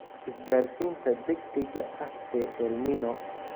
Isgaarsiinta degdegga ah ee El Niño